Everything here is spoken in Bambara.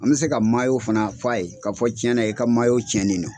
An bɛ se ka fana f'a ye ka fɔ cɛn na i ka cɛnnen no.